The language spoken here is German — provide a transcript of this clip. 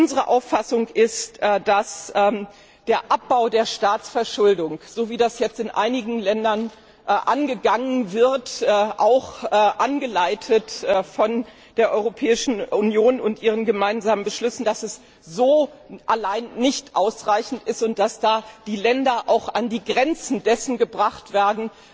Unsere Auffassung ist, dass der Abbau der Staatsverschuldung, wie das jetzt in einigen Ländern angegangen wird, auch angeleitet von der Europäischen Union und ihren gemeinsamen Beschlüssen, so allein nicht ausreichend ist und dass da die Länder auch an die Grenzen dessen gebracht werden,